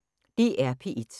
DR P1